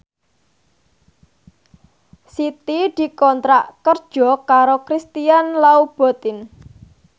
Siti dikontrak kerja karo Christian Louboutin